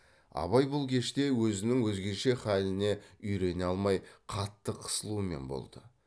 абай бұл кеште өзінің өзгеше халыне үйрене алмай қатты қысылумен болды